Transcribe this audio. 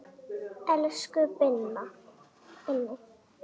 Elsku Binni.